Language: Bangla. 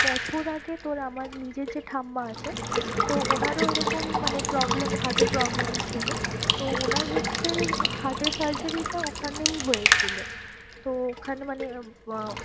বছর আগে তোর আমার নিজের যে ঠাম্মা আছে তো ওনারও ওই রকম মানে problem heart এর problem ছিল। তো ওনার হচ্ছে heart এর surgery টা ওখানেই হয়েছিল। তো ওখানে মানে